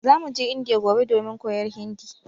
Zamu je Indiya gobe domin koyar Hindi